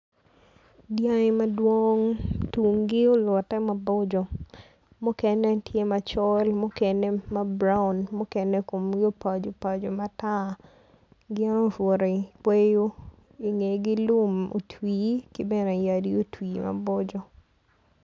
Dyangi madwong tunggi olutte maboco mukene tye macol mukene braun mukene komgi opacopaco matar gin obuto i kweyo ingegi lum otwi ki bene yadi otwi maboco.